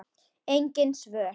Engin svör.